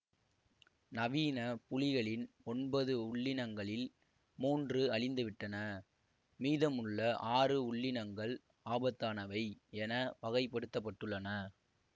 நவீன புலிகளின் ஒன்பது உள்ளினங்களில் மூன்று அழிந்துவிட்டன மீதமுள்ள ஆறு உள்ளினங்கள் ஆபத்தானவை என வகைப்படுத்தப்பட்டுள்ளன